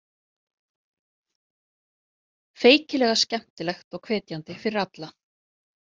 Feykilega skemmtilegt og hvetjandi fyrir alla.